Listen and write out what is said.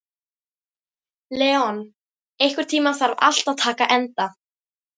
Leon, einhvern tímann þarf allt að taka enda.